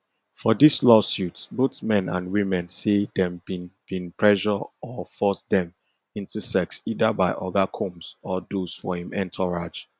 for dis lawsuits both men and women say dem bin bin pressure or force dem into sex either by oga combs or those for im entourage